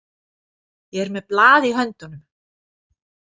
Ég er með blað í höndunum.